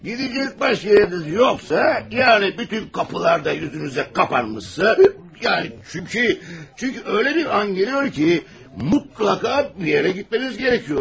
Gidecek başqa yeriniz yoxsa, yəni bütün qapılar da yüzünüzə qapanmışsa, yəni, çünki, çünki elə bir an gəlir ki, mütləq bir yerə getməniz gərəkdir.